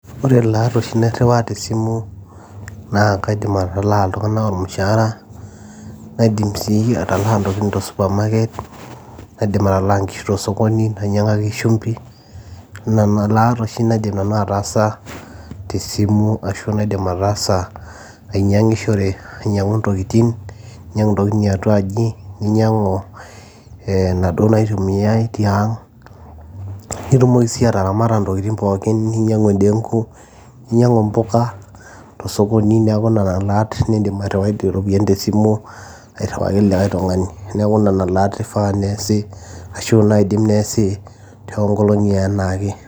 ore ilaat oshi nairriwaa tesimu naa kaidim atalaa iltung'anak ormushaara naidim si atalaa intokitin to'supermarket nadim atalaa inkishu tosokoni nainyang'aki shumbi nana laat oshi naidim nanu ataasa tesimu ashu naidim ataasa ainyiang'ishore ainyiang'u ntokitin iatuaji ninyiang'u inaduo naitumiae tiang nitumoki sii ataramata ntokitin pookin ninyiang'u endenku ninyiang'u mpuka tosokoni neeku nena laat nindim airriwai iropiyiani tesimu airriwaki likae tung'ani neeku nena laat ifaa neesi ashu naidim neesi toonkolong'i enaake.